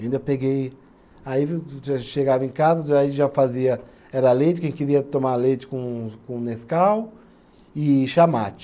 Ainda peguei, aí chegava em casa, aí já fazia, era leite, quem queria tomar leite com com nescau e chá mate.